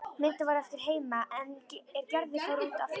Myndin varð eftir heima er Gerður fór út aftur.